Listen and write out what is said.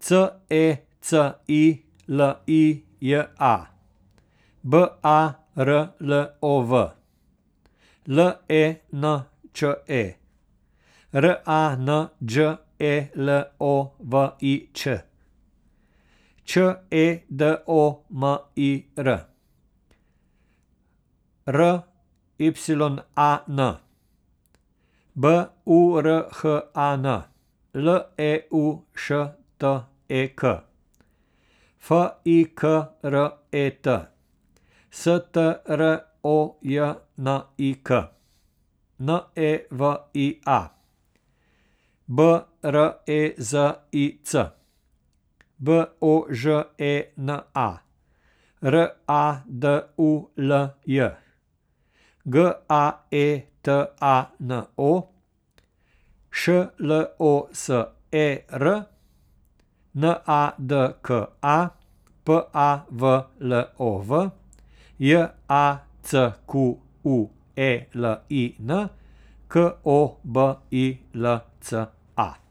C E C I L I J A, B A R L O W; L E N Č E, R A N Đ E L O V I Ć; Č E D O M I R, R Y A N; B U R H A N, L E U Š T E K; F I K R E T, S T R O J N I K; N E V I A, B R E Z I C; B O Ž E N A, R A D U L J; G A E T A N O, Š L O S E R; N A D K A, P A V L O V; J A C Q U E L I N, K O B I L C A.